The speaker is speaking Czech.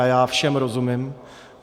A já všem rozumím.